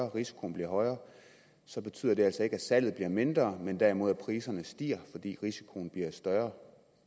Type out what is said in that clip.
risikoen bliver højere så betyder det altså ikke at salget bliver mindre men derimod at priserne stiger fordi risikoen bliver større